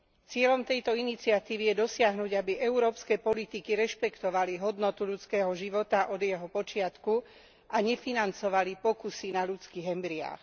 Cieľom tejto iniciatívy je dosiahnuť, aby európske politiky rešpektovali hodnotu ľudského života od jeho počiatku a nefinancovali pokusy na ľudských embryách.